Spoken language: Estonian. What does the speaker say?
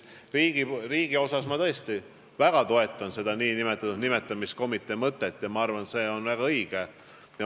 Riigis ma tõesti väga toetan seda nn nimetamiskomitee mõtet ja arvan, et see on väga õige.